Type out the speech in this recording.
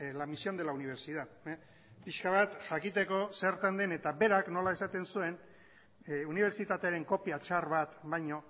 la misión de la universidad pixka bat jakiteko zertan den eta berak nola esaten zuen unibertsitatearen kopia txar bat baino